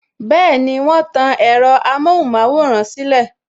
Bẹẹni, wọn tan ẹ̀rọ amohun maworan silẹ